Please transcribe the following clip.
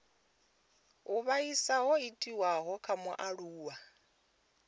u vhaisa ho itiwaho kha mualuwa